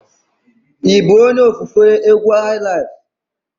Ị bụ onye ofufe egwu highlife?